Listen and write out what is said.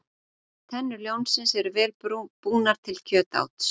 Tennur ljónsins eru vel búnar til kjötáts.